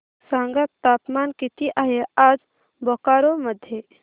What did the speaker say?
सांगा तापमान किती आहे आज बोकारो मध्ये